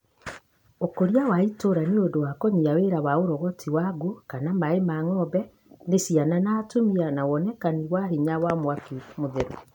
ũkũria wa itũra nĩũndũ wa kũnyia wĩra wa ũrogoti wangũ kana maĩ ma ng'ombe nĩ ciana na atumia na wonekani wa hinya wa mwaki mũtheru.